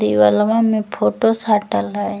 देवलवा मे फोटो साटल हई ।